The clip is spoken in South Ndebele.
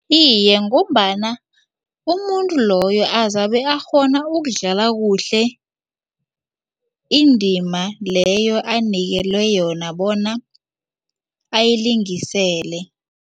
Iye, ngombana umuntu loyo azabe akghona ukudlala kuhle indima leyo anikelwe yona bona ayilingisele.